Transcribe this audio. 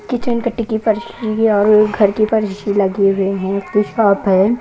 Kitchen कट्टी की फरशी और घर की परशी लगे हुए हैं उसकी शॉप है।